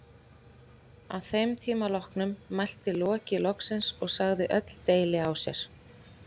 Að þeim tíma loknum mælti Loki loks og sagði öll deili á sér.